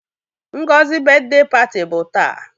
Ngozi brithday party bụ taa.